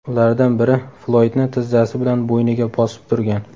Ulardan biri Floydni tizzasi bilan bo‘yniga bosib turgan.